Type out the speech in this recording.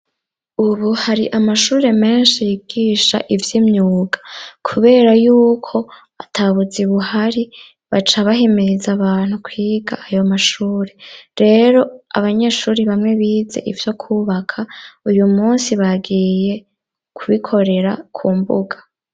Ubu hari amashure menshi yigisha ivy'imyuga kubera yuko ata buzi buhari, baca bahimiriza abantu kwiga ayo mashuri, rero abanyeshuri bamwe bize ivyo kubaka, uyu munsi bagiye kubikorera ku mbuga.